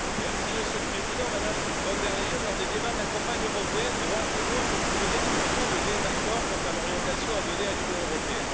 Monsieur le Président, Madame von der Leyen, lors des débats de la campagne européenne, droite et gauche ont pu donner l'illusion de désaccords quant à l'orientation à donner à l'Union européenne.